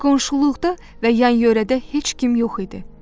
Qonşuluqda və yan-yörədə heç kim yox idi.